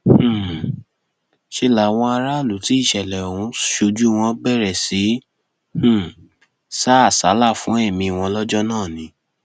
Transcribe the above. um ṣe làwọn aráàlú tí ìṣẹlẹ ọhún ṣojú wọn bẹrẹ sí í um sá àsálà fún ẹmí wọn lọjọ náà ni